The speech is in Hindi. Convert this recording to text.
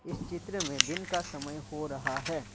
इस चित्र में दिन का समय हो रहा है।